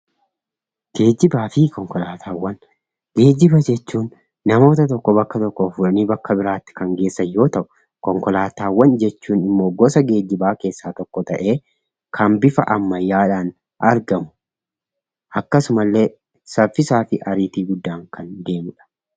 Geejjibaa fi konkolaataawwan. Geejjiba jechuun namoota tokko bakka tokkoo fuudhanii gara bakka biraatti kan geessan yoo ta'u; konkolaataawwan jechuun immoo gosa geejjibaa keessaa tokko ta'ee kan bifa ammayyaadhaan argamu akkasumallee saffisaa fi ariitii guddaan kan deemuu dha.